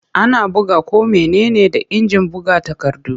Ana buga ko mene ne da injin buga takardu.